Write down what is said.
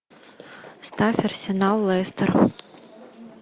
ставь арсенал лестер